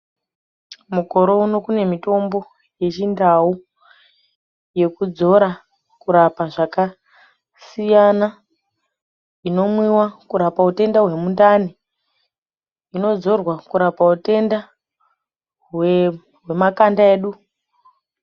Mukore uno kune mitombo yechindau yekudzora kurapa zvakasiyana inomwiwa kurapa hutenda hwemundani, inodzorwa kurapa utenda hwemakanda edu.